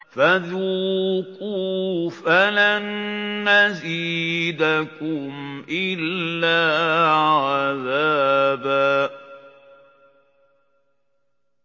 فَذُوقُوا فَلَن نَّزِيدَكُمْ إِلَّا عَذَابًا